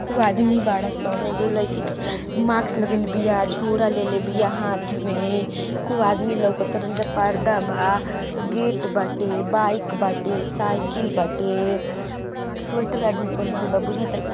खूब आदमी बाड़ सन। एगो लईकी माक्स लगइले बिया। झोरा लेले बिया हाथ में। खूब आदमी लउकतरन जा। पर्दा बा। गेट बाटे बाइक बाटे साइकिल बाटे। स्वेटर आदमी पहीनले बा। बुझाता --